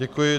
Děkuji.